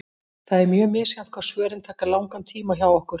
Það er mjög misjafnt hvað svörin taka langan tíma hjá okkur.